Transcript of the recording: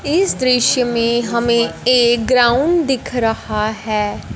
इस दृश्य में हमें एक ग्राउंड दिख रहा हैं।